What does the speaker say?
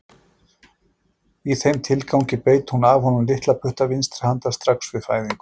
Í þeim tilgangi beit hún af honum litla putta vinstri handar strax við fæðingu.